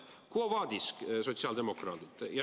Quo vadis, sotsiaaldemokraadid?